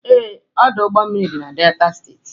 Ee, Ọdụ ụgbọ mmiri dị na Delta steeti.